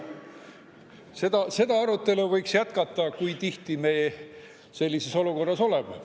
Võiks jätkata seda arutelu, kui tihti me sellises olukorras oleme.